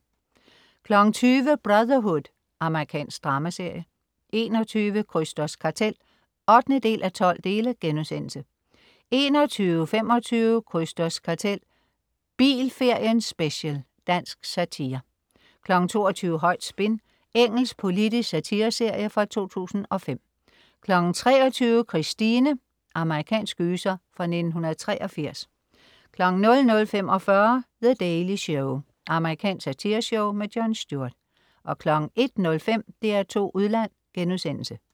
20.00 Brotherhood. Amerikansk dramaserie 21.00 Krysters Kartel 8:12* 21.25 Krysters Kartel. Bilferien special. Dansk satire 22.00 Højt spin. Engelsk politisk satireserie fra 2005 23.00 Christine. Amerikansk gyser fra 1983 00.45 The Daily Show. Amerikansk satireshow. Jon Stewart 01.05 DR2 Udland*